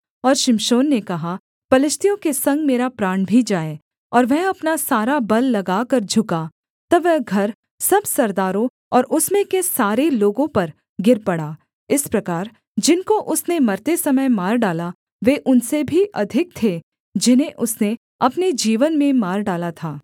और शिमशोन ने कहा पलिश्तियों के संग मेरा प्राण भी जाए और वह अपना सारा बल लगाकर झुका तब वह घर सब सरदारों और उसमें के सारे लोगों पर गिर पड़ा इस प्रकार जिनको उसने मरते समय मार डाला वे उनसे भी अधिक थे जिन्हें उसने अपने जीवन में मार डाला था